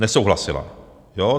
Nesouhlasila.